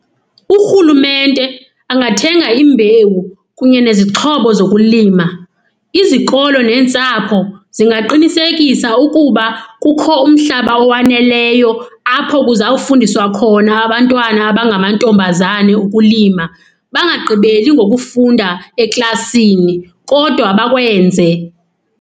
Urhulumente angathenga imbewu kunye nezixhobo zokulima. Izikolo neentsapho zingaqinisekisa ukuba kukho umhlaba owaneleyo apho kuzawufundiswa khona abantwana abangamantombazane ukulima, bangagqibeli ngokufunda eklasini kodwa bakwenze.